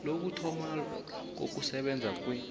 lokuthoma ukusebenza kwe